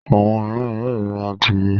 Àwọn mìíràn yóò ra àdìrẹ́.